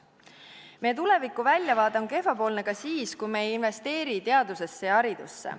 Meie tulevikuväljavaade on kehvapoolne ka siis, kui me ei investeeri teadusesse ja haridusse.